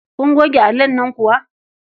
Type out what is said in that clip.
Kun goge allon nan kuwa?